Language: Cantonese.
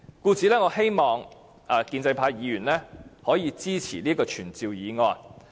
因此，我希望建制派議員可以支持這項傳召議案。